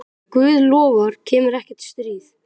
Ef Guð lofar kemur ekkert stríð.